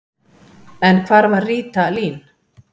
En hvar var Ríta Lín?